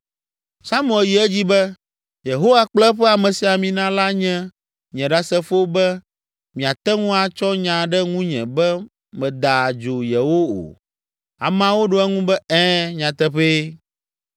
Samuel yi edzi be, “Yehowa kple eƒe amesiamina la nye nye ɖasefo be miate ŋu atsɔ nya ɖe ŋunye be meda adzo yewo o.” Ameawo ɖo eŋu be, “Ɛ̃, nyateƒee.”